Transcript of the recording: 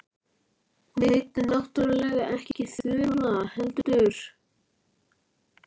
Hún heitir náttúrlega ekki Þura, heldur